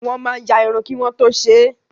Wọ́n máa ya irun kí wọ́n tó ṣe é.